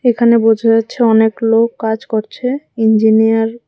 এখানে বোঝা যাচ্ছে অনেক লোক কাজ করছে ইঞ্জিনিয়ার --